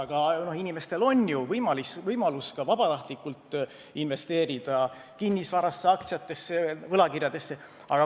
Aga inimestel on ju praegu ka võimalus vabatahtlikult investeerida kinnisvarasse, aktsiatesse, võlakirjadesse.